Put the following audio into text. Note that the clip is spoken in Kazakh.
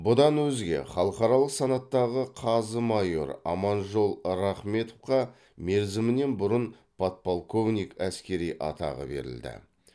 бұдан өзге халықаралық санаттағы қазы майоры аманжол рахметовқа мерзімінен бұрын подполковник әскери атағы берілді